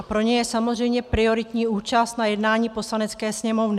A pro ně je samozřejmě prioritní účast na jednání Poslanecké sněmovny.